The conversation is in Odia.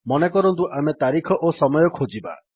ମନେକରନ୍ତୁ ଆମେ ତାରିଖ ଓ ସମୟ ଖୋଜିବା